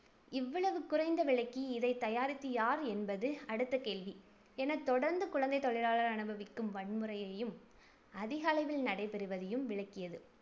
இவ்வளவு குறைந்த விலைக்கு இதை தயாரித்து யார் என்பது அடுத்த கேள்வி எனத் தொடர்ந்து குழந்தைத் தொழிலாளர் அனுபவிக்கும் வன்முறையையும், அதிகளவில் நடைபெறுவதையும் விளக்கியது.